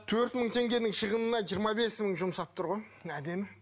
төрт мың теңгенің шығынына жиырма бес мың жұмсап тұр ғой әдемі